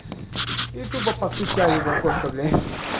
и тупо постучали в окошко блять